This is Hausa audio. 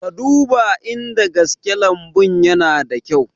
Ka duba in da gaske lambun yana da kyau